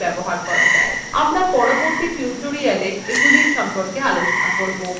আমরা পরবর্তী tutorialswe এইগুলির সম্পর্কে আলোচনা করবো